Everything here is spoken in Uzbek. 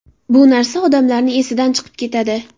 Bu narsa odamlarni esidan chiqib ketadi.